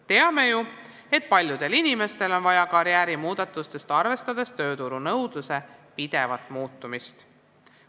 Teame ju, et paljudel inimestel on vaja karjäärimuudatust, arvestades tööturunõudluse pidevat muutumist.